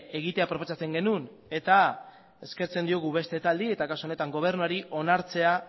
egitea proposatzen genuen eta eskertzen diogu beste taldeei eta kasu honetan gobernuari onartzea